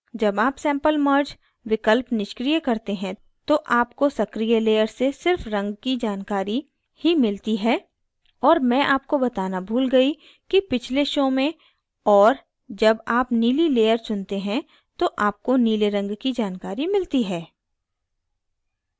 जब आप sample merged विकल्प निष्क्रिय करते हैं तो आपको सक्रिय layer से सिर्फ रंग की जानकारी ही मिलती है और मैं आपको बताना भूल गयी कि पिछले show में और जब आप नीली layer चुनते हैं तो आपको नीले रंग की जानकारी मिलती है